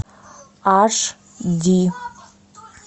аш ди